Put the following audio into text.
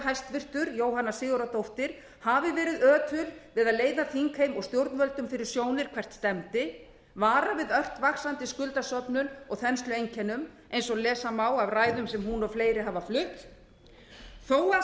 hæstvirtan forsætisráðherra jóhanna sigurðardóttir hafi verið ötul við að leiða þingheim og stjórnvöldum fyrir sjónir hvert stefndi varað við ört vaxandi skuldasöfnun og þenslueinkennum eins og lesa má af ræðum sem hún og fleiri hafa flutt þó að